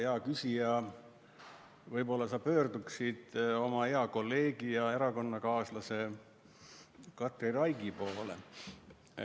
Aga, hea küsija, võib-olla sa pöörduksid oma hea kolleegi ja erakonnakaaslase Katri Raigi poole.